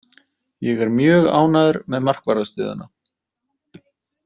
Ég er mjög ánægður með markvarðarstöðuna.